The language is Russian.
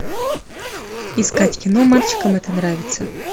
искать кино мальчикам это нравится